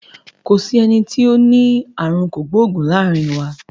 Kò sí eni tó ní àrùn kògbóògùn láàrin wa.